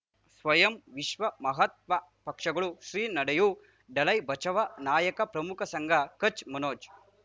ಸ್ವಯಂ ವಿಶ್ವ ಮಹಾತ್ಮ ಪಕ್ಷಗಳು ಶ್ರೀ ನಡೆಯೂ ದಲೈ ಬಚೌ ನಾಯಕ ಪ್ರಮುಖ ಸಂಘ ಕಚ್ ಮನೋಜ್